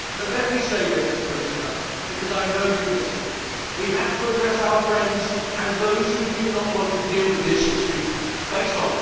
And let me say this, Commissioner, because I know you listen we have to address our friends, and those who do not want to deal with this issue, face on.